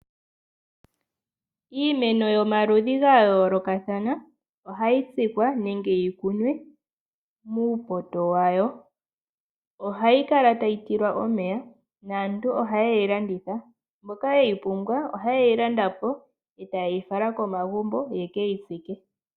Iimeno yomaludhi ga yoolokathana ohayi tsikwa nenge yi kunwe muupoto wayo. Ohayi kala tayi tilwa omeya naantu ohaye yi landitha. Mboka yeyi pumbwa ohaye yi landa po e taye yi fala komagumbo ye keyi tsike.